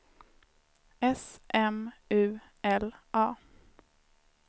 S M U L A